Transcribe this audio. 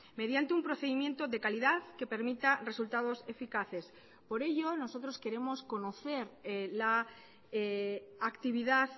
mediante un procedimiento de calidad que permita resultados eficaces por ello nosotros queremos conocer la actividad